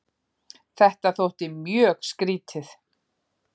Þetta þótti mjög skrýtið.